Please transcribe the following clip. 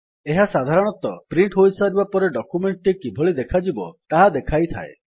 ଏହା ସାଧାରଣତଃ ପ୍ରିଣ୍ଟ୍ ହୋଇସାରିବା ପରେ ଡକ୍ୟୁମେଣ୍ଟ୍ ଟି କିଭଳି ଦେଖାଯିବ ତାହା ଦେଖାଇଥାଏ